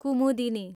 Kumudini